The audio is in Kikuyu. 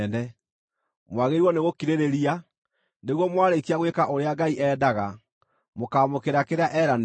Mwagĩrĩirwo nĩgũkirĩrĩria, nĩguo mwarĩkia gwĩka ũrĩa Ngai endaga, mũkaamũkĩra kĩrĩa eeranĩire.